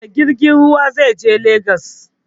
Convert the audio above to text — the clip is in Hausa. Da jirgin ruwa zai je lagos